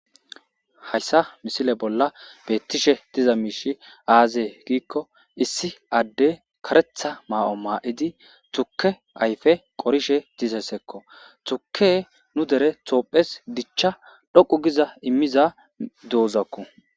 Hayssa misile bolla beettishe diza miishi aazee giikko issi adde karetha ma'o maa'idi tukke ayfe qorishe diza ssekko tuke nu dere tophes dichcha dhoqu giza immiza douzakku.